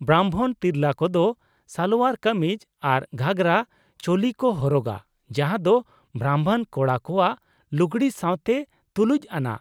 ᱵᱨᱟᱢᱵᱷᱚᱱ ᱛᱤᱨᱞᱟᱹ ᱠᱚᱫᱚ ᱥᱟᱞᱳᱣᱟᱨ ᱠᱟᱢᱤᱡ ᱟᱨ ᱜᱷᱟᱜᱨᱟ ᱪᱳᱞᱤ ᱠᱚ ᱦᱚᱨᱚᱜᱟ, ᱡᱟᱦᱟᱸ ᱫᱚ ᱵᱨᱟᱢᱵᱷᱚᱱ ᱠᱚᱲᱟ ᱠᱚᱣᱟᱜ ᱞᱩᱜᱲᱤ ᱥᱟᱶᱛᱮ ᱛᱩᱞᱩᱡ ᱟᱱᱟᱜ ᱾